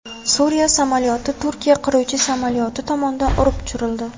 Suriya samolyoti Turkiya qiruvchi samolyoti tomonidan urib tushirildi.